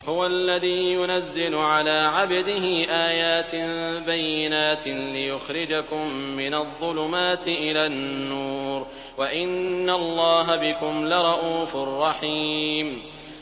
هُوَ الَّذِي يُنَزِّلُ عَلَىٰ عَبْدِهِ آيَاتٍ بَيِّنَاتٍ لِّيُخْرِجَكُم مِّنَ الظُّلُمَاتِ إِلَى النُّورِ ۚ وَإِنَّ اللَّهَ بِكُمْ لَرَءُوفٌ رَّحِيمٌ